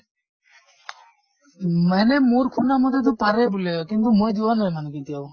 মানে মোৰ শুমা মতেতো পাৰে বুলে কিন্তু মই যোৱা নাই মানে কেতিয়াও।